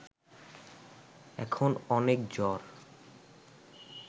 এখন অনেক জ্বর